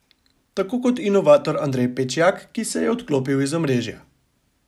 Tako kot inovator Andrej Pečjak, ki se je odklopil iz omrežja.